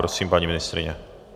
Prosím, paní ministryně.